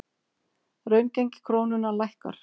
Raungengi krónunnar lækkar